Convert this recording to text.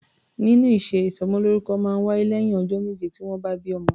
Nínú ìṣe, ìsọmọlórúkọ máa ń wáyé lẹ́yìn ọjọ́ méje tí wọ́n bí ọmọ.